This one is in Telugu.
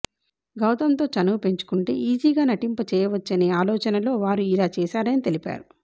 గౌతంతో చనువు పెంచుకుంటే ఈజీగా నటింపచేయవచ్చనే ఆలోచనలో వారు ఇలా చేసారని తెలిపారు